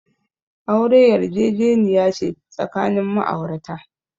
Aure yarjejeniya ce tsakanin ma'aurata.